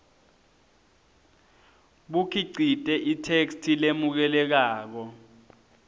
bukhicite itheksthi lemukelekako